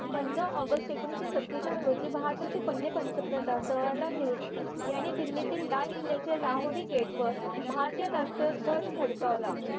पंधरा ऑगस्ट एकोणीशे सतेचाळ रोजी भारताचे पहिले पंथप्रधान जवाहरलाल नेहरू दिल्ली तिल लाल किल्ल्याच्या लाहोरी गेट वर भारतीय राष्ट्रीय ध्वज फडकावला